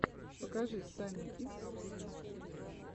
покажи санни кидс ти ви